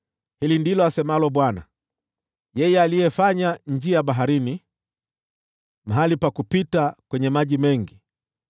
Hili ndilo asemalo Bwana , yeye aliyefanya njia baharini, mahali pa kupita kwenye maji mengi,